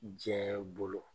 Diɲɛ bolo.